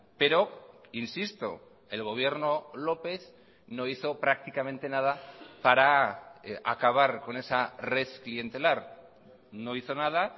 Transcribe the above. pero insisto el gobierno lópez no hizo prácticamente nada para acabar con esa red clientelar no hizo nada